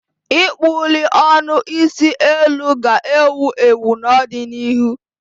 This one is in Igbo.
ịkpụli ọnụ isi eluu ga-ewu ewu n'ọdịnihu.